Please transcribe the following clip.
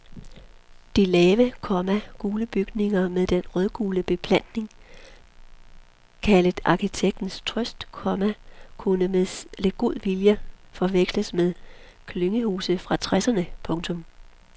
De lave, komma gule bygninger med den rødgule beplantning kaldet arkitektens trøst, komma kunne med lidt god vilje forveksles med klyngehuse fra tresserne. punktum